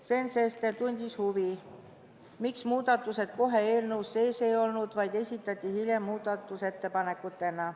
Sven Sester tundis huvi, miks need muudatused kohe eelnõus sees ei olnud, vaid esitati hiljem muudatusettepanekutena.